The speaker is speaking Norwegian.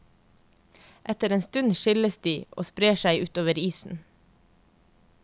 Etter en stund skilles de og sprer seg utover isen.